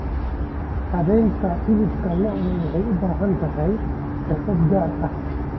Habaynta hilibka lo'da waxay u baahan tahay xirfado gaar ah.